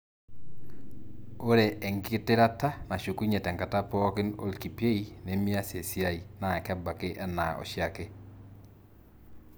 ore engitirata nashukunyie tenkata pooki olkipiei lemias esiai na kebaki ena oshiake.